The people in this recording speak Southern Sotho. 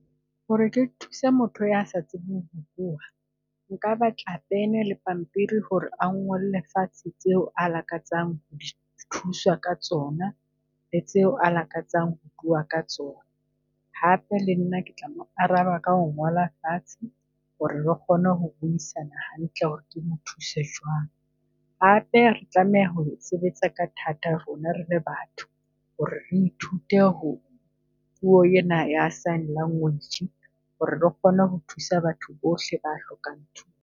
Ho re ke thusa motho ya sa tsebeng ho bua, nka batla pene le pampiri ho re a ngolle fatshe tseo a lakatsang ho thuswa ka tsona tseo le tseo a lakatsang ho bua ka tsona. Hape le nna ke tla mo araba ka ho ngola fatshe ho re re kgone ho buisana hantle ho re ke mo thuse jwang. Hape re tlameha ho sebetsa ka ka thata rona rele batho ho re re ithute ho puo ena ya sign language ho re re kgone ho thusa batho bohle a hlokang .